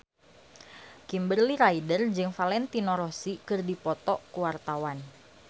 Kimberly Ryder jeung Valentino Rossi keur dipoto ku wartawan